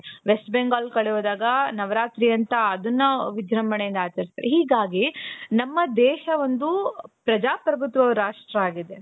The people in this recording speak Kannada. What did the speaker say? west Bengal ಕಡೆ ಹೋದಾಗ ನವರಾತ್ರಿ ಅಂತ ಅದನ್ನು ವಿಜೃಂಭಣೆಯಿಂದ ಆಚರಿಸುತ್ತಾರೆ ಹೀಗಾಗಿ ನಮ್ಮ ದೇಶ ಒಂದು ಪ್ರಜಾಪ್ರಭುತ್ವ ರಾಷ್ಟ್ರ ಆಗಿದೆ .